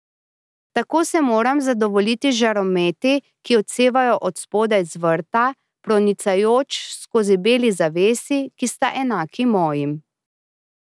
Tako se moram zadovoljiti z žarometi, ki odsevajo od spodaj z vrta, pronicajoč skozi beli zavesi, ki sta enaki mojim.